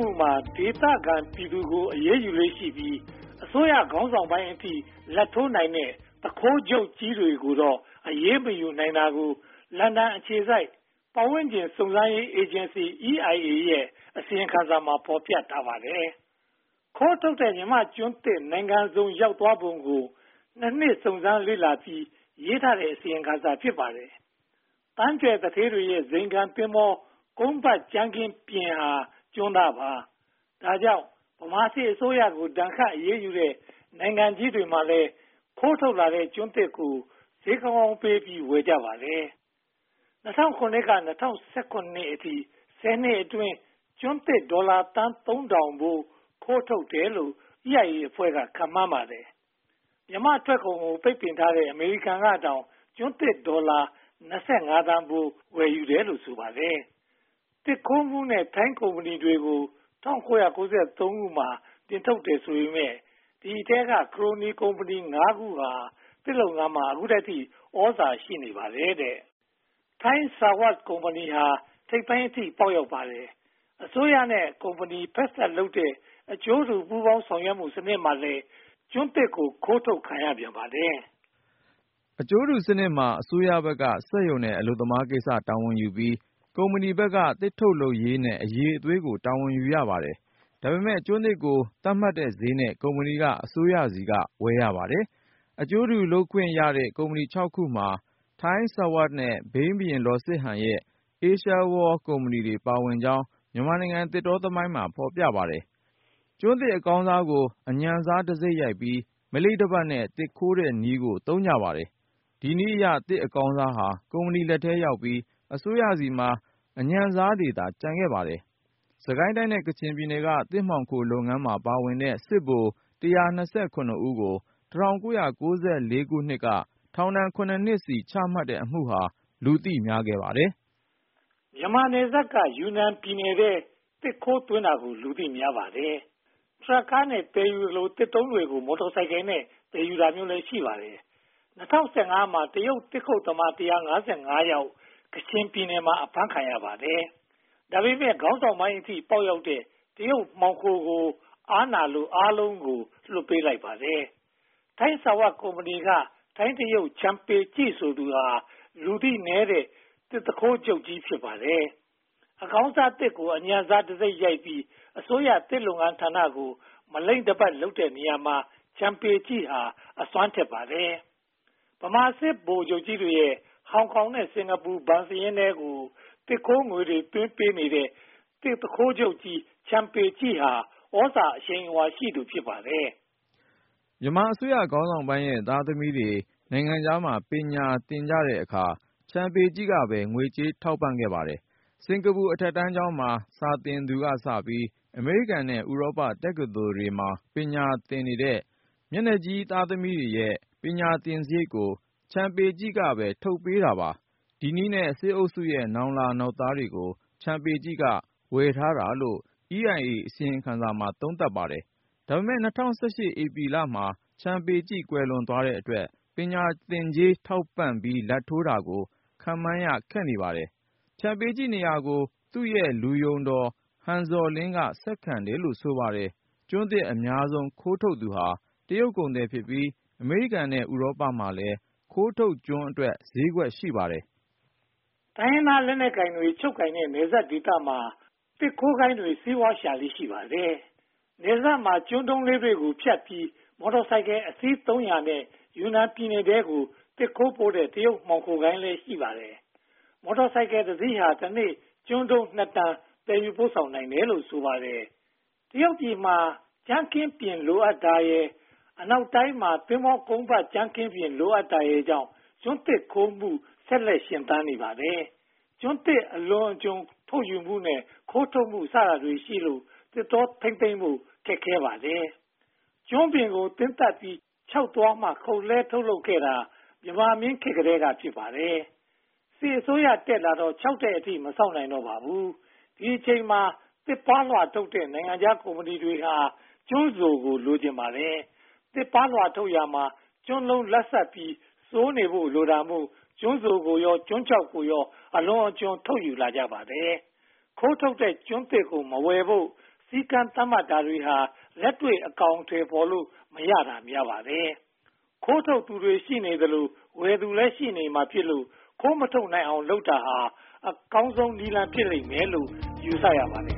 ှုမှာ ဒေသခံပြည်သူတွေကို အရေးယူလေ့ရှိပြီး အစိုးရခေါင်းဆောင်ပိုင်းအထိ လာဘ်ထိုးနိုင်တဲ့ သူခိုးချုပ်ကြီးတွေကိုတော့ အရေးမယူနိုင်တာကို လန်ဒန်အခြေစိုက် ပတ်ဝန်းကျင်စုံစမ်းရေးအေဂျင်စီ EIA ရဲ့ အစီရင်ခံစာမှာ ဖော်ပြထားပါတယ်။ ခိုးထုတ်ခံရတဲ့ မြန်မာ့ကျွန်းသစ်တွေ နိုင်ငံစုံရောက်သွားပုံကို (၂) နှစ် စုံစမ်းစစ်ဆေးပြီး ရေးသားခဲ့တဲ့ အစီရင်ခံစာ ဖြစ်ပါတယ်။ သန်းကြွယ်သူဌေးတွေရဲ့ ဇိမ်ခံသင်္ဘော ကုန်းပတ်ကြမ်းခင်းပြင်ဟာ ကျွန်းသားပါ။ ဒါကြောင့် ဗမာစစ်အစိုးရကို ဒဏ်ခတ်အရေးယူတဲ့ နိုင်ငံကြီးတွေမှာလည်း ခိုးထုတ်လာတဲ့ ကျွန်းသစ်ကို ဈေးကောင်းကောင်းပေးပြီး ဝယ်ကြပါတယ်။ ၂၀၀၇ ကနေ ၂၀၁၇ အထိ ဆယ်နှစ်အတွင်း ကျွန်းသစ်ဒေါ်လာသန်း (၃၀၀၀) ဖိုး ခိုးထုတ်တယ်လို့ EIA အဖွဲ့က ခန့်မှန်းကြပါတယ်။ မြန်မာ့ထွက်ကုန်ကို ပိတ်ပင်ထားတဲ့ အမေရိကန်ကတောင် ကျွန်းသစ်ဒေါ်လာ (၂၅) သန်းဖိုး ဝယ်ယူတယ်လို့ ဆိုပါတယ်။ သစ်ခိုးမှုနဲ့ ထိုင်းကုမ္ပဏီတွေကို ၁၉၉၃ မှာ နှင်ထုတ်တယ်ဆိုပေမယ့် ဒီအထဲက ခရိုနီကုမ္ပဏီ (၅) ခုဟာ ဒီနေ့အထိ သစ်လုပ်ငန်းမှာ သြဇာရှိနေပါတယ်။ ထိုင်းဆာဝပ် (Thai Sawat) ကုမ္ပဏီဟာ ထိပ်ပိုင်းအထိ ပေါက်ရောက်ပါတယ်။ အစိုးရနဲ့ ကုမ္ပဏီဖက်စပ်လုပ်တဲ့ အကျိုးတူပူးပေါင်းဆောင်ရွက်မှုစနစ်မှာလည်း ကျွန်းသစ်တွေ ခိုးထုတ်ခံရပြန်ပါတယ်။ အကျိုးတူစနစ်မှာ အစိုးရဘက်က စက်ရုံနဲ့ အလုပ်သမားကိစ္စ တာဝန်ယူထားပြီး၊ ကုမ္ပဏီဘက်က သစ်ထုတ်လုပ်ရေးနဲ့ အရည်အသွေးကို တာဝန်ယူထားပါတယ်။ ဒါပေမဲ့ ကျွန်းသစ်ကို သတ်မှတ်ထားတဲ့ဈေးနဲ့ ကုမ္ပဏီက အစိုးရဆီက ဝယ်ယူရပါတယ်။ အကျိုးတူလုပ်ခွင့်ရတဲ့ ကုမ္ပဏီ (၆) ခုမှာ ထိုင်းဆာဝပ်နဲ့ ဘိန်းဘုရင်လောစစ်ဟန်ရဲ့ အေးရှားဝေါလ် (Asia World) ကုမ္ပဏီလည်း ပါဝင်ကြောင်း မြန်မာနိုင်ငံသစ်တောသမိုင်းမှာ ဖော်ပြထားပါတယ်။ ကျွန်းသစ်အကောင်းစားကို အညံ့စားတံဆိပ်ရိုက်ပြီး မလိမ့်တပတ်နဲ့ သစ်ခိုးတဲ့နည်းကို သုံးကြပါတယ်။ ဒီနည်းအရ သစ်အကောင်းစားဟာ ကုမ္ပဏီလက်ထဲရောက်ပြီး အစိုးရဆီမှာ အညံ့စားတွေသာ ကျန်ခဲ့ပါတယ်။ စစ်ကိုင်းတိုင်းနဲ့ ကချင်ပြည်နယ်ဟာ သစ်မှောင်ခိုးလုပ်ငန်းမှာ ပါဝင်တဲ့ စစ်ဗိုလ် (၁၂၇) ဦးကို (၁၉၉၄) မှာ ထောင် (၇) နှစ်စီ ချမှတ်လိုက်တဲ့အမှုဟာ လူသိများပါတယ်။ မြန်မာနယ်စပ်က ယူနန်ပြည်နယ်ထဲ သစ်ခိုးသွင်းတာကို လူသိများပါတယ်။ ထရပ်ကားတွေနဲ့ သယ်ယူသလို၊ သစ်တုံးတွေကို မော်တော်ဆိုင်ကယ်နဲ့ သယ်ယူတာမျိုးလည်း ရှိပါတယ်။ ၂၀၁၅ မှာ တရုတ်သစ်ခုတ်သမား (၁၅၅) ယောက် ကချင်ပြည်နယ်မှာ အဖမ်းခံရပါတယ်။ ခေါင်းဆောင်ပိုင်းအထိ ပေါက်ရောက်တဲ့ တရုတ်မှောင်ခိုတွေကို အားနာလို့ အားလုံးကို ပြန်လွှတ်ပေးလိုက်ပါတယ်။ ထိုင်းဆာဝပ်ကုမ္ပဏီက ထိုင်းတရုတ် ချန်ပေကျိ ဆိုသူဟာ လူသိနည်းတဲ့ သစ်သူခိုးဂိုဏ်းချုပ်ကြီး ဖြစ်ပါတယ်။ အကောင်းစားသစ်ကို အညံ့စားတံဆိပ်ရိုက်ပြီး အစိုးရသစ်လုပ်ငန်းဌာနကို မလိမ့်တပတ်လုပ်တဲ့နေရာမှာ ချန်ပေကျိဟာ အစွမ်းထက်ပါတယ်။ ဗမာစစ်ဗိုလ်ကြီးတွေရဲ့ ဟောင်ကောင်နဲ့ စင်္ကာပူဘဏ်စာရင်းထဲကို သစ်ခိုးငွေတွေသွင်းပေးတဲ့ သစ်သူခိုးချုပ်ကြီး ချန်ပေကျိဟာ သြဇာအရှိန်အဝါရှိသူ ဖြစ်ပါတယ်။ မြန်မာအစိုးရခေါင်းဆောင်ပိုင်းရဲ့ သားသမီးတွေ နိုင်ငံခြားမှာ ပညာသင်တဲ့အခါမှာ ချန်ပေကျိ ကပဲ ငွေကြေးထောက်ပံ့ပါတယ်။ စင်္ကာပူအထက်တန်းကျောင်းမှာ စာသင်သူကစပြီး အမေရိကန်နဲ့ ဥရောပတက္ကသိုလ်တွေမှာ ပညာသင်နေတဲ့ မျက်နှာကြီးသားသမီးတွေရဲ့ ပညာသင်စရိတ်ကို ချန်ပေကျိ က ထုတ်ပေးပါတယ်။ ဒီနည်းလမ်းနဲ့ စစ်အုပ်စုရဲ့ နောင်လာနောင်သားတွေကို ချန်ပေကျိ က ဝယ်ထားတာလို့ EIA အစီရင်ခံစာမှာ သုံးသပ်ထားပါတယ်။ ဒါပေမဲ့ ၂၀၁၈ မှာ ချန်ပေကျိ ကွယ်လွန်သွားတဲ့အတွက် ပညာသင်ကြေး ထောက်ပံ့လာဘ်ထိုးတာကို ခန့်မှန်းရခက်နေပါတယ်။ ချန်ပေကျိနေရာကို သူ့ရဲ့လူယုံတော် ဟန်ဇော်လင်းက ဆက်ခံတယ်လို့ ဆိုပါတယ်။ ကျွန်းသစ်အများဆုံး ခိုးထုတ်သူဟာ တရုတ်ကုန်သည်များဖြစ်ပြီး အမေရိကန်နဲ့ ဥရောပမှာလည်း ခိုးထုတ်ကျွန်းတွေအတွက် ဈေးကွက်ရှိပါတယ်။ တိုင်းရင်းသားလက်နက်ကိုင်တွေ ချုပ်ကိုင်ထားတဲ့ နယ်စပ်ဒေသတွေမှာ သစ်ခိုးဂိုဏ်းတွေ စီးပွားရှာလေ့ ရှိပါတယ်။ နယ်စပ်မှာ ကျွန်းတုံးလေးတွေဖြတ်ပြီး မော်တော်ဆိုင်ကယ်အစီး (၃၀၀) နဲ့ ယူနန်ပြည်နယ်ထဲကို သစ်ခိုးပို့တဲ့ တရုတ်မှောင်ခိုဂိုဏ်းလည်း ရှိပါတယ်။ မော်တော်ဆိုင်ကယ်တစီးဟာ တနေ့ ကျွန်းတုံး (၂) တန် သယ်ယူပို့ဆောင်နိုင်ပါတယ်။ တရုတ်ပြည်မှာ ကြမ်းခင်းပျဉ် လိုအပ်တာရယ်၊ အနောက်တိုင်းမှာ သင်္ဘောကုန်းပတ်ကြမ်းခင်းပျဉ် လိုအပ်တာရယ်ကြောင့် ကျွန်းသစ်ခိုးထုတ်မှု ဆက်လက်ရှင်သန်နေပါတယ်။ ကျွန်းသစ်အလွန်အကျွံ ထုတ်ယူမှုနဲ့ ခိုးထုတ်မှုစတာတွေရှိလို့ သစ်တောထိန်းသိမ်းဖို့ ခက်ပါတယ်။ ကျွန်းပင်ကို သင်းသတ်ပြီး ခြောက်သွားမှာ ခုတ်လဲှထုတ်လုပ်ခဲ့တာ မြန်မာမင်းများလက်ထက်ကတည်းက ဖြစ်ပါတယ်။ စစ်အစိုးရတက်လာတော့ ခြောက်တဲ့အထိ မစောင့်နိုင်တော့ပါဘူး။ ဒီအချိန်မှာ သစ်ပါးလွှာထုတ်လုပ်တဲ့ နိုင်ငံခြားကုမ္ပဏီတွေက ကျွန်းစိုကို လိုချင်ကြပါတယ်။ သစ်ပါးလွှာထုတ်လုပ်ရာမှာ ကျွန်းလုံးလတ်ဆတ်ပြီး စိုနေဖို့ လိုတာမို့ ကျွန်းစိုကိုရော ကျွန်းခြောက်ကိုပါ အလွန်အကျွံ ထုတ်ယူလာကြပါတယ်။ ခိုးထုတ်တဲ့ကျွန်းသစ်ကို မဝယ်ဖို့ စည်းကမ်းသတ်မှတ်တာတွေဟာ လက်တွေ့အကောင်အထည် ဖော်လို့မရတာ များပါတယ်။ ခိုးထုတ်သူရှိနေသရွေ့ ဝယ်သူလည်း ရှိနေမှာဖြစ်လို့ ခိုးမထုတ်နိုင်အောင် လုပ်တာဟာ အကောင်းဆုံးနည်းလမ်း ဖြစ်လိမ့်မယ်လို့ ယူဆရပါတယ်